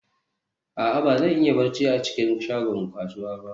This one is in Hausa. a'a, ba zan iya barci a cikin shagon kasuwa ba